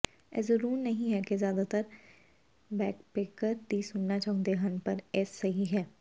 ਇਹ ਜ਼ਰੂਰ ਨਹੀਂ ਹੈ ਕਿ ਜ਼ਿਆਦਾਤਰ ਬੈਕਪੈਕਕਰ ਕੀ ਸੁਣਨਾ ਚਾਹੁੰਦੇ ਹਨ ਪਰ ਇਹ ਸਹੀ ਹੈ